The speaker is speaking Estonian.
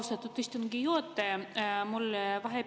Austatud istungi juhataja!